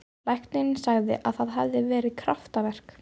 Læknirinn sagði að það hefði verið kraftaverk.